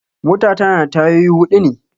Mota ta na da tayoyi huɗu ne